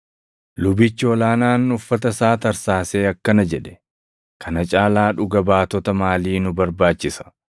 Lubichi ol aanaan uffata isaa tarsaasee akkana jedhe; “Kana caalaa dhuga baatota maalii nu barbaachisa?